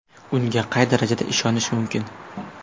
Unga qay darajada ishonish mumkin?